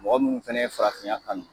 Mɔgɔ munnu fɛnɛ ye farafinya kanu.